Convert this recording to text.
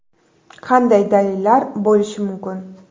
Qanday dalillar bo‘lishi mumkin?